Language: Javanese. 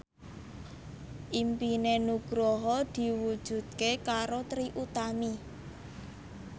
impine Nugroho diwujudke karo Trie Utami